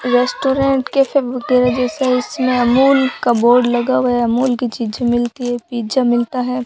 Restaurant के जैसे इसमें अमूल का बोर्ड लगा हुआ है अमूल की चीजें मिलती है पिज़्ज़ा मिलता है।